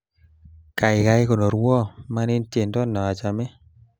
Kaikai konorwo, manin tiendo nachame